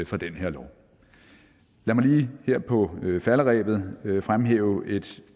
for den her lov lad mig lige her på falderebet fremhæve et